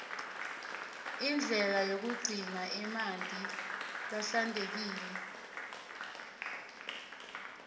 indlela yokugcina amanti ahlantekile